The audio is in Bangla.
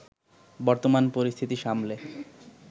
বর্তমান পরিস্থিতি সামলে